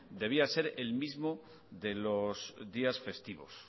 debía ser el mismo de los días festivos